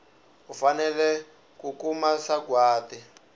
u fanele ku kuma sagwati